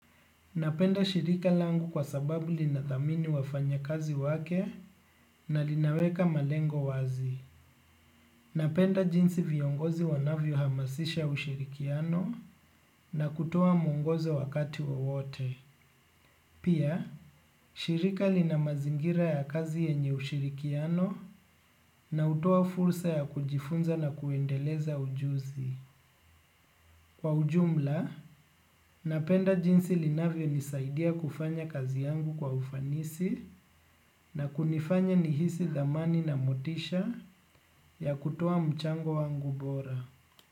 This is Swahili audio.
Napenda shirika langu kwa sababu linadhamini wafanyakazi wake na linaweka malengo wazi. Napenda jinsi viongozi wanavyohamasisha ushirikiano na kutuoa mwongozo wakati wowote. Pia, shirika lina mazingira ya kazi yenye ushirikiano na hutoa fursa ya kujifunza na kuendeleza ujuzi. Kwa ujumla, napenda jinsi linavyonisaidia kufanya kazi yangu kwa ufanisi na kunifanya nihisi dhamani na motisha ya kutoa mchango wangu bora.